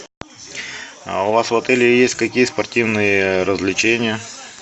а у вас в отеле есть какие спортивные развлечения